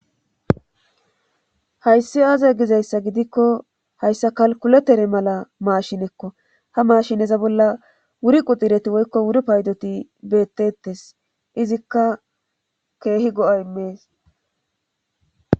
Hayssi aaze gizayssa gidikko hayssa kalkkuletere mala maashinekko ha maashineza bolla wuri kuxireti woykko wuri oaydoti beetteetes izikka keehi go7a immees.